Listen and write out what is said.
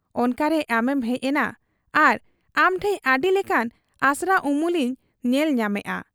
ᱚᱱᱠᱟᱨᱮ ᱟᱢᱮᱢ ᱦᱮᱡ ᱮᱱᱟ ᱟᱨ ᱟᱢᱴᱷᱮᱫ ᱟᱹᱰᱤᱞᱮᱠᱟᱱ ᱟᱥᱨᱟ ᱩᱢᱩᱞᱤᱧ ᱧᱮᱞ ᱧᱟᱢᱮᱜ ᱟ ᱾